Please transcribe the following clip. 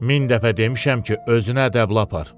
Min dəfə demişəm ki, özün ədəblə apar.